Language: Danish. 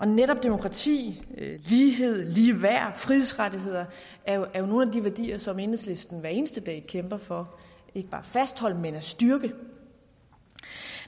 netop demokrati lighed ligeværd frihedsrettigheder er jo nogle af de værdier som enhedslisten hver eneste dag kæmper for ikke bare at fastholde men at styrke